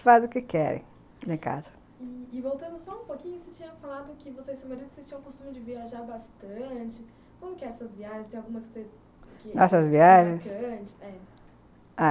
Eles fazem o que querem lá em casa. i-i Voltando só um pouquinho, você tinha falado que você e seu marido tinham o costume de viajar bastante. Como que eram essas viagens? tem alguma que você... essas viagens? é...